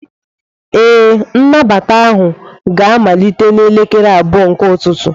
Ee, nnabata ahụ ga-amalite n'elekere abụọ nke ụtụtụ.